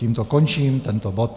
Tím končím tento bod.